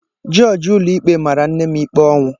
Jọọjị ụlọikpe mara nne m ikpe ọnwụ.